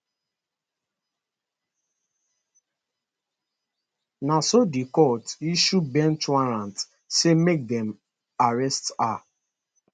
na so di court issue bench warrant say make dem dem arrest her